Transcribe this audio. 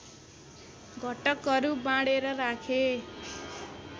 घटकहरू बाँडेर राखे